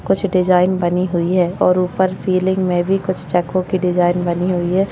कुछ डिजाइन बनी हुई है और ऊपर सीलिंग में भी कुछ चक्को की डिजाइन बनी हुई है।